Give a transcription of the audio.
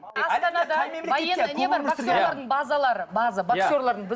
боксерлардың базалары база боксерлардың